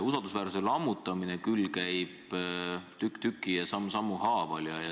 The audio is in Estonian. Usaldusväärsuse lammutamine paraku käib tükk tüki ja samm sammu haaval.